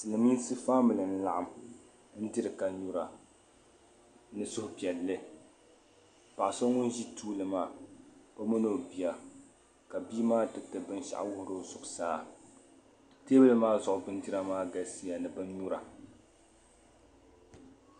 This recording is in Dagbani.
Silimiinsi "family" n-laɣim n-diri ka nyura ni suhupiɛlli paɣ'so ŋun ʒi tuuli maa mini o bia ka bi'maa tiriti binshɛɣu wuhiri o zuɣusaa teebuli maa zuɣu bindira maa galisiya ni bi nyura.